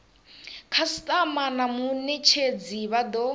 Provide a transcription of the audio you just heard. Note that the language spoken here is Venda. khasitama na munetshedzi vha do